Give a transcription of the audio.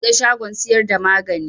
Na buɗe shagon siyar da magani